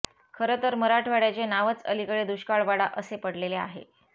खरं तर मराठवाड्याचे नावच अलीकडे दुष्काळवाडा असे पडलेले आहे